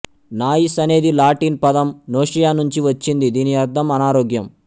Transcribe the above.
noise అనేది Latin పదము nausea నుంచి వచ్చింది దీని అర్ధం అనారోగ్యం